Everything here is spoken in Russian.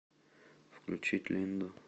включить линду